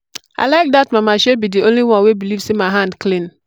i like dat mamashe be the only one wey believe say my hand clean.